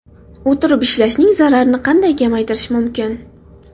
O‘tirib ishlashning zararini qanday kamaytirish mumkin?.